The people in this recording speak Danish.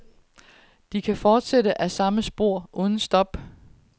De kan fortsætte ad de samme spor uden stop.